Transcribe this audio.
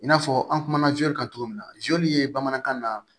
I n'a fɔ an kumana kan cogo min na ye bamanankan na